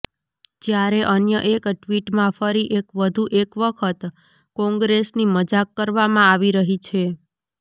જ્યારે અન્ય એક ટ્વિટમાં ફરી એક વધુ એક વખત કોંગ્રેસની મજાક કરવામાં આવી રહી છે